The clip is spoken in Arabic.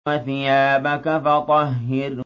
وَثِيَابَكَ فَطَهِّرْ